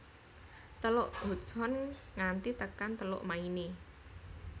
Teluk Hudson nganti tekan Teluk Maine